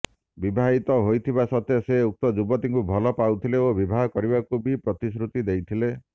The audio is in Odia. ବିବାହିତ ହୋଇଥିବା ସତ୍ତ୍ୱେ ସେ ଉକ୍ତ ଯୁବତୀଙ୍କୁ ଭଲ ପାଉଥିଲେ ଓ ବିବାହ କରିବାକୁ ବି ପ୍ରତିଶ୍ରୁତି ଦେଇଥିଲେ